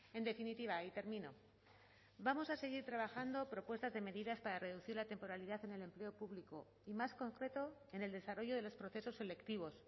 en definitiva y termino vamos a seguir trabajando propuestas de medidas para reducir la temporalidad en el empleo público y más concreto en el desarrollo de los procesos selectivos